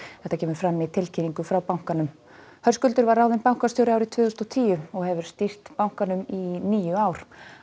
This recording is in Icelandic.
þetta kemur fram í tilkynningu frá bankanum Höskuldur var ráðinn bankastjóri árið tvö þúsund og tíu og hefur því stýrt bankanum í níu ár